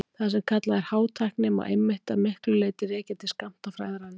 Það sem kallað er hátækni má einmitt að miklu leyti rekja til skammtafræðinnar.